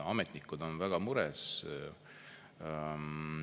Ametnikud on väga mures.